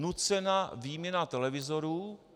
Nucená výměna televizorů.